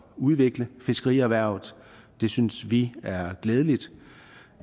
udvikle fiskerierhvervet det synes vi er glædeligt